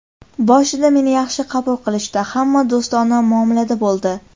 Boshida meni yaxshi qabul qilishdi, hamma do‘stona muomalada bo‘ldi.